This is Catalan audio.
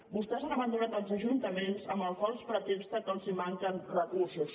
vostès han abandonat els ajuntaments amb el fals pretext que els manquen recursos